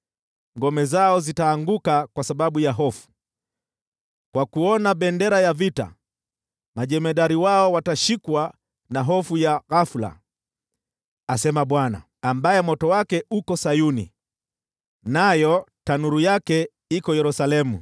Ngome zao zitaanguka kwa sababu ya hofu; kwa kuona bendera ya vita, majemadari wao watashikwa na hofu ya ghafula,” asema Bwana , ambaye moto wake uko Sayuni, nayo tanuru yake iko Yerusalemu.